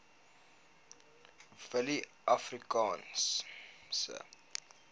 willieafrikaanse